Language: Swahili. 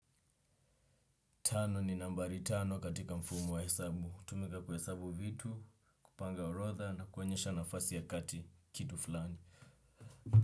Tano ni nambari tano katika mfumo wa hesabu. Hutumika kuhesabu vitu, kupanga orodha na kuonyesha nafasi ya kati kitu fulani.